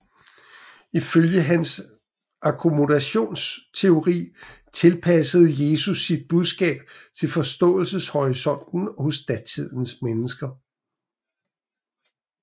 Ifølge hans akkommodationteori tilpassede Jesus sit budskab til forståelseshorisonten hos datidens mennesker